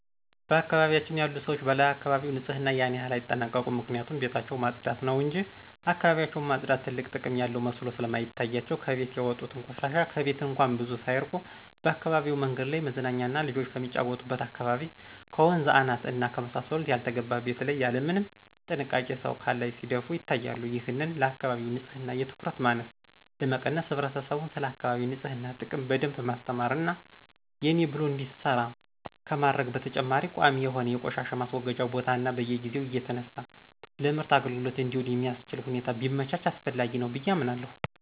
በአካባቢያችን ያሉ ሰዎች ለአካባቢያቸው ንጽህና ያን ያክል አይጠነቀቁም ምክንያቱም ቤታቸውን ማጽዳት ነው እንጅ እካባቢያቸውን ማጽዳት ትልቅ ጥቅም ያለው መስሎ ስለማይታያቸው ከቤት ያወጡትን ቆሻሻ ከቤት እንኳን ብዙ ሳያርቁ በአካባቢው መንገድ ላይ፣ መዝናኛና ልጆች ከሚጫወቱበት አካባቢ፣ ከወንዝ አናት እና ከመሳሰሉት ያልተገባ ቤት ላይ ያለምንም ጥንቃቄ ሰው ካላይ ሲደፉ ይታያሉ። ይህንን ለአካባቢ ንጽህና የትኩረት ማነስ ለመቀነስ ህብረተሰቡን ስለአካቢ ንጽህና ጥቅም በደንብ ማስተማር እና የኔ ብሎ እንዲሰራ ከማድረግ በተጨማሪ ቋሚ የሆነ የቆሻሻ ማስወገጃ ቦታ እና በየጊዜው እየተነሳ ለምርት አግልግሎት እንዲውል የሚአስችል ሁኔታ ቢመቻች አስፈላጊ ነው ብየ አምናለሁ።